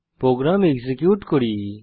programme execute করি